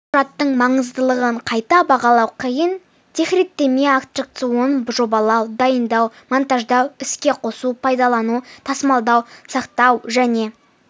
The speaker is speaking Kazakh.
құжаттың маңыздылығын қайта бағалау қиын техреттеме аттракционды жобалау дайындау монтаждау іске қосу пайдалану тасымалдау сақтау және